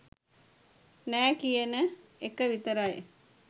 නෑ කියන එක විතරයි.